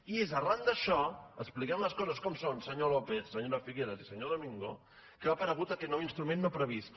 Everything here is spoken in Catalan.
i és ar ran d’això expliquem les coses com són senyor lópez se nyora figueras i senyor domingo que ha apare gut aquest nou instrument no previst